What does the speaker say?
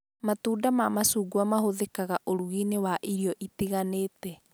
Matunda ma macungwa mahũthĩkaga ũrugi-inĩ wa irio itiganĩte